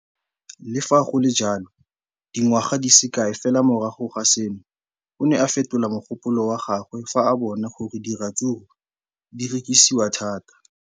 Le fa go le jalo, dingwaga di se kae fela morago ga seno, o ne a fetola mogopolo wa gagwe fa a bona gore diratsuru di rekisiwa thata.